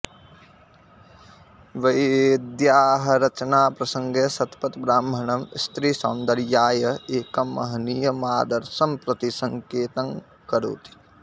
वेद्याः रचनाप्रसङ्गे शतपथब्राह्मणं स्त्रीसौन्दर्याय एकं महनीयमादर्शं प्रति सङ्केतं करोति